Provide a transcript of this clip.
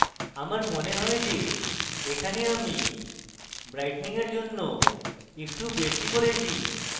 আমার মনে হয় যে এখানে আমি brightening এর জন্য একটু বেশী করেছি